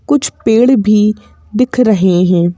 कुछ पेड़ भी दिख रहे हैं।